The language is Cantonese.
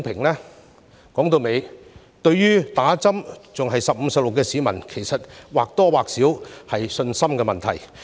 說到底，市民對接種疫苗仍然猶豫，或多或少是信心問題。